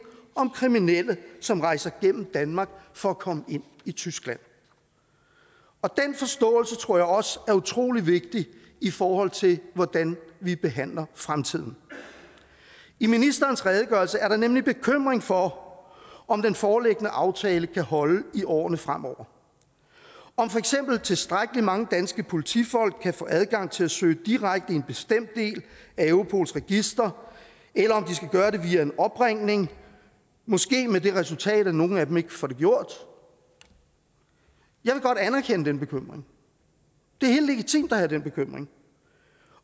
om kriminelle som rejser gennem danmark for at komme ind i tyskland og den forståelse tror jeg også er utrolig vigtig i forhold til hvordan vi behandler fremtiden i ministerens redegørelse er der nemlig bekymring for om om den foreliggende aftale kan holde i årene fremover om for eksempel tilstrækkelig mange danske politifolk kan få adgang til at søge direkte i en bestemt del af europols register eller om de skal gøre det via en opringning måske med det resultat at nogle af dem ikke får det gjort jeg vil godt anerkende den bekymring det er helt legitimt at have den bekymring